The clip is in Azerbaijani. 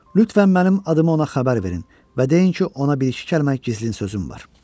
Lütfən mənim adımı ona xəbər verin və deyin ki, ona bir-iki kəlmə gizlin sözüm var.